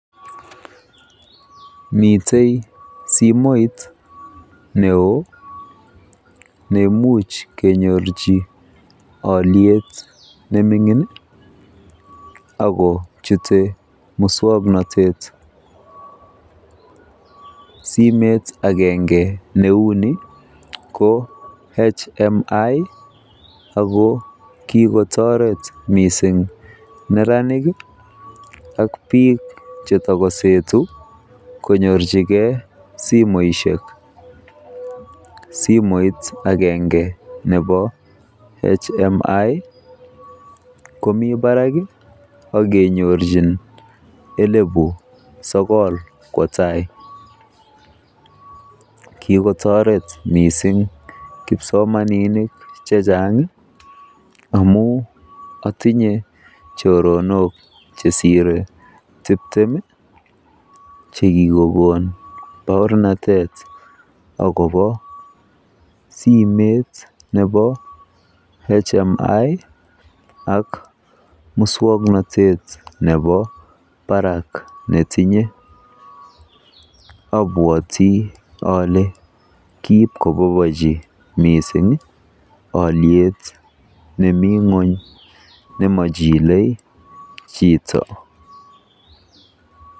Mitei simet neo mising neimuch kenyorji olyet nemi ng'ony akochute musoknotet. Simet agenge neuni ko HMI ako kikotoret mising neranik ak biik chetakosetu konyorchigei simoshek. Simet agenge nebo HMI komi barak akenyorchin elebu sokol kwo tai. Kikotoret mising kipsomaninik amu atinye choronok chesire tiptem chekikokon baornatet akobo simet nebo HMI ak muswoknotet nebo barak netinye. Abwoti ole kiipkobobochi miising olyet nemi ng'ony nemochilei chito.